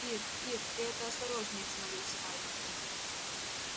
ир ир ты это осторожнее взмолился парень